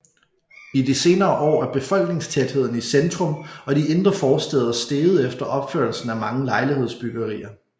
I de senere år er befolkningstætheden i centrum og de indre forstæder steget efter opførelsen af mange lejlighedsbyggerier